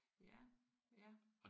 Ja ja